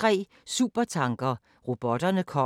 Samme programflade som øvrige dage